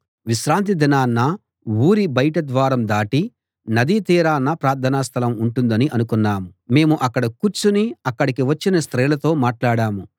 విశ్రాంతి దినాన ఊరి బయటి ద్వారం దాటి నదీ తీరాన ప్రార్థనాస్థలం ఉంటుందని అనుకున్నాము మేము అక్కడ కూర్చుని అక్కడికి వచ్చిన స్త్రీలతో మాట్లాడాం